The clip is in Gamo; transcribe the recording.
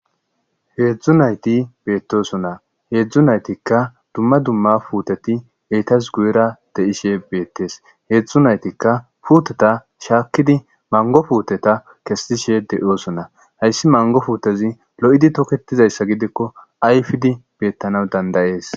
Heezu nayti beettoson na heedzdzu naytikka dumma dumma puuteti eytas guyira de'ishe beettes heezu naytikka puuteta shaakkidi mango fuuteta kesetishe de'oosonna hayssi mango fuutezi lo'idi toketizayssa gidikko ayfidi beettana dandayees